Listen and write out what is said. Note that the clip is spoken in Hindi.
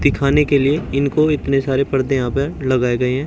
खाने के लिए इनको इतने सारे पर्दे यहां पे लगाए गए हैं।